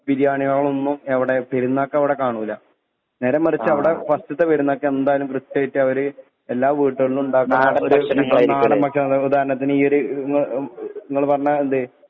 ബിരിയാണികളൊന്നും എവടെ പെര്ന്നാക്കവ്ടെ കാണൂല നേരെ മറിച്ച് അവടെ ഫസ്റ്റ്ത്തെ പെരുന്നാക്ക് എന്തായാലും കൃത്യായിട്ട് അവര് എല്ലാ വൂട്ടേൾലും ഇണ്ടാക്ക്ണ് നാടൻ ഭക്ഷണങ്ങള് ഉദാഹരണത്തിന് ഈയൊര് ഇങ്ങള് പറഞ്ഞ ഇത്